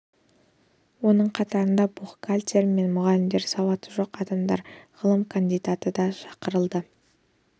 оның қатарына бухгалтерлер мен мұғалімдер сауаты жоқ адамдар ғылым кандидаты да шақырылды